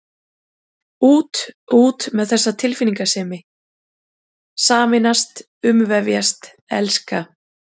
Út, út með þessa tilfinningasemi: sameinast, umvefjast, elska.